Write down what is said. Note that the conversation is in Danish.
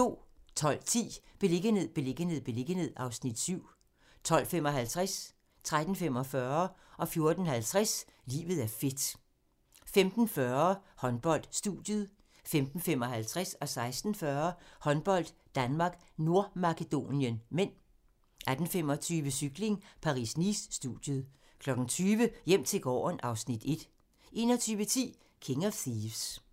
12:10: Beliggenhed, beliggenhed, beliggenhed (Afs. 7) 12:55: Livet er fedt 13:45: Livet er fedt 14:50: Livet er fedt 15:40: Håndbold: Studiet 15:55: Håndbold: Danmark-Nordmakedonien (m) 16:40: Håndbold: Danmark-Nordmakedonien (m) 18:25: Cykling: Paris-Nice - studiet 20:00: Hjem til gården (Afs. 1) 21:10: King of Thieves